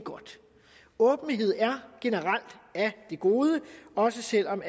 åbenhed er generelt af det gode også selv om